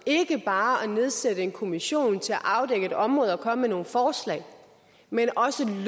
ikke bare at nedsætte en kommission til at afdække et område og komme med nogle forslag men også